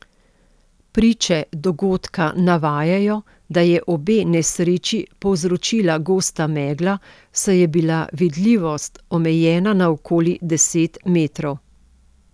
Priče dogodka navajajo, da je obe nesreči povzročila gosta megla, saj je bila vidljivost omejena na okoli deset metrov.